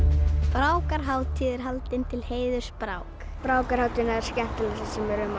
brákarhátíð er haldin til heiðurs Brákar brákarhátíðin er skemmtilegasta sem er um